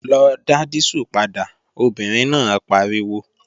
Lọ dá dísù padà, obìnrin náà pariwo!